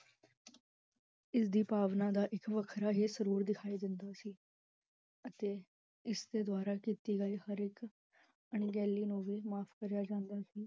ਇਸ ਦੀ ਭਾਵਨਾ ਦਾ ਇਕ ਵਖਰਾ ਹੀ ਸੁਰੂਰ ਦਿਖਾਈ ਦਿੰਦਾ ਸੀ, ਅਤੇ ਇਸ ਦੇ ਦ੍ਵਾਰਾ ਕੀਤੀ ਗਈ ਹਰ ਇਕ ਅਣਗਹਿਲੀ ਨੂੰ ਵੀ ਮਾਫ਼ ਕਰਿਆ ਜਾਂਦਾ ਸੀ